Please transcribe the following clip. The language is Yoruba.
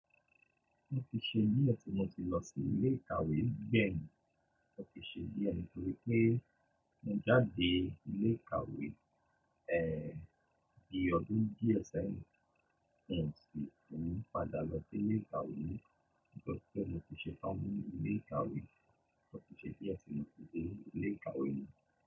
Mo ti ṣe di ẹ ti mo ti lọ sí ilé ìkàwé gbẹyin, o ti ṣe di ẹ ni torí pé mo jáde ilé ìkàwé, eeh bi ọdún díẹ̀ sẹyìn ọ̀nà tí mo padà lọ sí ilé ìkàwé nítorí pé mo ti ṣe pọ́n ilé ìkàwé, mo ti ṣe di ẹsin ló ti dé ilé ìkàwé mi.